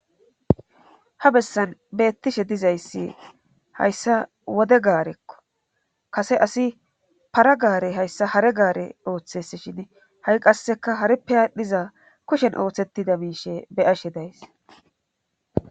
Ha bessan beettishe dizayssi hayssa wode gaarekko kase asi para gaare hayssa hare gaare ooththes shin ha7i qasseka harippe aadhdhiza kushen ooththettida miishe beyashe days.